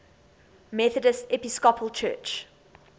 methodist episcopal church